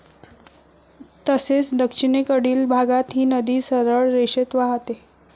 तसेच दक्षिणेकडील भागात ही नदी सरळ रेषेत वाहते.